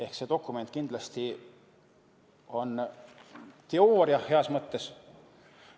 Ehk see dokument kindlasti on teooria, heas mõttes.